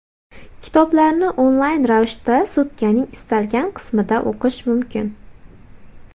Kitoblarni onlayn ravishda sutkaning istalgan qismida o‘qish mumkin.